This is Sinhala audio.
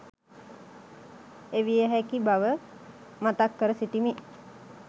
එවිය හැකි බව මතක් කර සිටිමි.